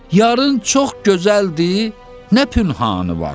Yarın çox gözəldir, nə pünhanı var?